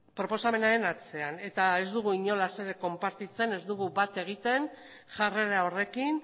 proposamenaren atzean eta ez dugu inolaz ere konpartitzen ez dugu bat egiten jarrera horrekin